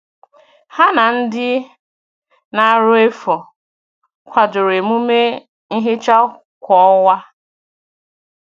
Ha na ndị na - arụ efu kwadoro emume nhicha kwa ọnwa